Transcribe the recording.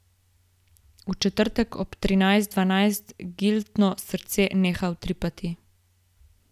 V četrtek ob trinajst dvajset Gitlino srce neha utripati.